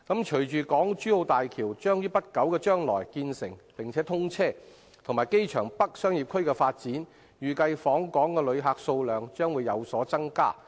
隨着港珠澳大橋將於不久將來建成並通車，加上機場北商業區的發展，預計訪港旅客數量將會有所增加。